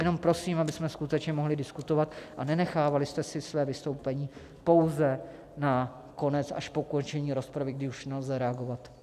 Jenom prosím, abychom skutečně mohli diskutovat, a nenechávali jste si své vystoupení pouze na konec až po ukončení rozpravy, kdy už nelze reagovat.